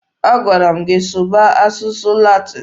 A gwara m gị sụba asụsụ Latin!